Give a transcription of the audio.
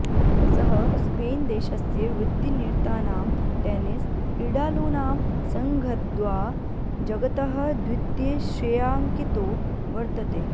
सः स्पेन् देशस्य वृत्तिनिरतानां टेन्निस् क्रीडालूनां सङ्घद्वा जगतः द्वितीय श्रेयाङ्कितो वर्तते